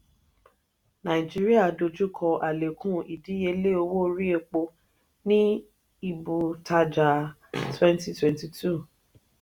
nàìjíríà dojú kọ alekun ìdíyelé owó orí epo ní ibu tajà twenty twenty two.